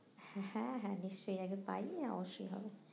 হ্যাঁ হ্যাঁ নিশ্চই আগে অবশ্যই হবে